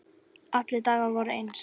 Allir dagar voru eins.